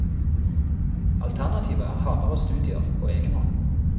Alternativet er hardere studier på egen hånd.